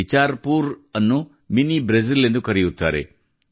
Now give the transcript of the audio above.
ಬಿಚಾರ್ poor ಅನ್ನು mini Brazil ಎಂದು ಕರೆಯುತ್ತಾರೆ